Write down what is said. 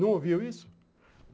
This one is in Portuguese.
Não ouviu isso?